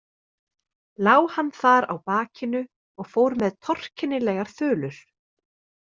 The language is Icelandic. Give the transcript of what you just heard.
Lá hann þar á bakinu og fór með torkennilegar þulur.